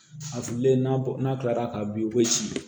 A fililen n'a bɔ n'a kilara ka bin i bɛ si